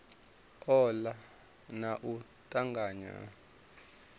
ola na u tanganya ha